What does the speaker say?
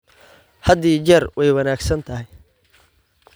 Had iyo jeer way wanaagsan tahay.